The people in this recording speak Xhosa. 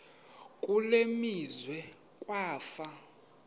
kule meazwe kwafa